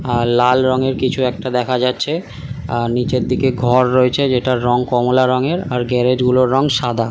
আর লাল রংয়ের কিছু একটা দেখা যাচ্ছে আর নিচের দিকে ঘর রয়েছে যেটার রং কমলা রঙের আর গ্যারেজ গুলোর রং সাদা।